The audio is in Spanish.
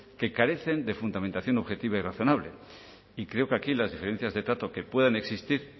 que carecen de fundamentación objetiva y razonable y creo que aquí las diferencias de trato que puedan existir